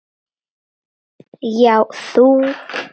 Já, þú!